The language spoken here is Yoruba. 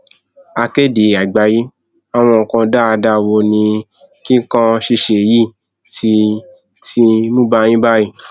akéde àgbàyéàwọn nǹkan dáadáa wo ni kíkàn ṣíṣe yìí ti ti mú bá yín báyìí